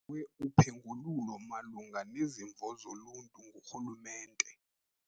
Uphengululo malunga nezimvo zoluntu ngorhulumente.